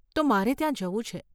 તો મારે ત્યાં જવું છે.